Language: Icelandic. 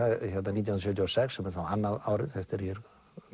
nítján hundruð sjötíu og sex sem er þá annað árið eftir að ég er